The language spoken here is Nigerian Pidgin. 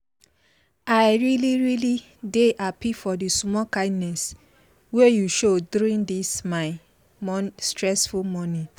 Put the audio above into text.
i really really dey happy for the small kindness wey you show during this my stressful morning.